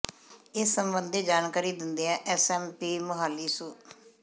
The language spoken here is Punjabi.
ਇਸ ਸਬੰਧੀ ਜਾਣਕਾਰੀ ਦਿੰਦਿਆਂ ਐਸ ਐਸ ਪੀ ਮੁਹਾਲੀ ਸ੍ਰ